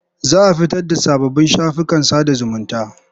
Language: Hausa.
Za a fitar da sababbin shafukan sada zumunta.